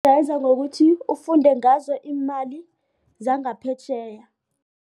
ngokuthi ufunde ngazo iimali zangaphetjheya.